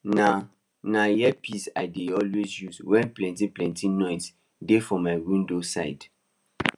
na na earpiece i dey always use when plenty plenty noise dey for my window side